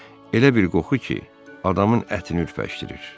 Elə bir qoxu ki, adamın ətini ürpəşdirir.